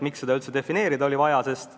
Miks seda üldse defineerida oli vaja?